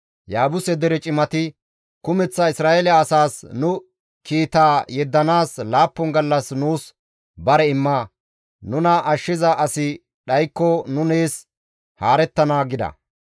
Yaabuse dere cimati, «Kumeththa Isra7eele asaas nu kiita yeddanaas laappun gallas nuus bare imma; nuna ashshiza asi dhaykko nu nees haarettana» gida.